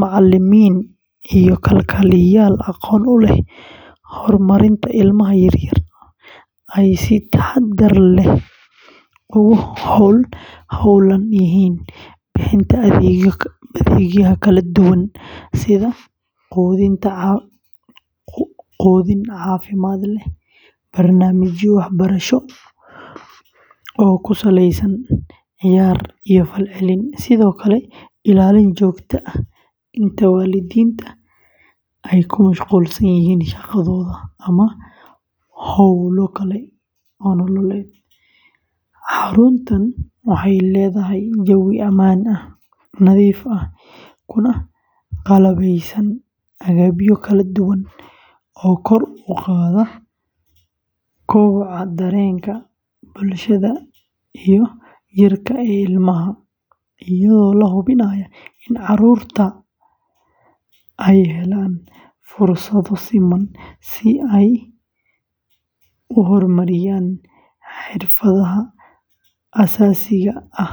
macallimiin iyo kalkaaliyayaal aqoon u leh horumarinta ilmaha yaryar ay si taxaddar leh ugu hawlan yihiin bixinta adeegyo kala duwan sida quudin caafimaad leh, barnaamijyo waxbarasho oo ku saleysan ciyaar iyo falcelin, sidoo kale ilaalin joogto ah inta waalidiinta ay ku mashquulsan yihiin shaqadooda ama howlo kale oo nololeed, xaruntuna waxay leedahay jawi ammaan ah, nadiif ah, kuna qalabaysan agabyo kala duwan oo kor u qaada koboca dareenka, bulshada, iyo jirka ee ilmaha, iyadoo la hubinayo in caruurtu ay helaan fursado siman si ay u horumariyaan xirfadaha aasaasiga ah.